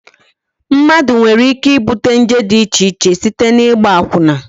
Mmadụ nwere ike ibute nje dị icheche site n'ịgba akwụna